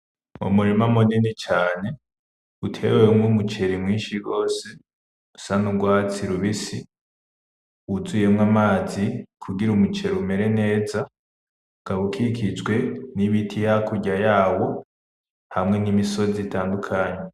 Umurima munini cane utewemwo umuceri mwinshi gose usa n’urwatsi rubisi wuzuyemwo amazi kugira umuceri umere neza, ukaba ukikijwe n’ibiti hakurya yawo hamwe n’imisozi itandukanye.